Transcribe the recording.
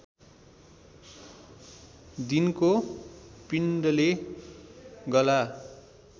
दिनको पिण्डले गला